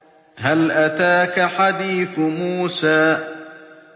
هَلْ أَتَاكَ حَدِيثُ مُوسَىٰ